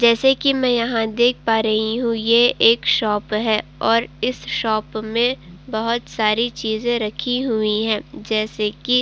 जैसे कि मैं यहां देख पा रही हूँ ये एक शॉप है और इस शॉप में बहोत सारी चीजें रखी हुई हैं। जैसे कि --